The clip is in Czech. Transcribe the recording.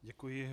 Děkuji.